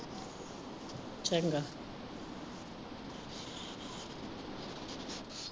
ਚੰਗਾ।